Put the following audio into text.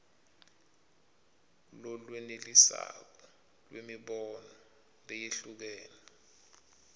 lolwenelisako lwemibono leyehlukene